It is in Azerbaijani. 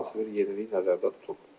Hər hansı bir yenilik nəzərdə tutulub.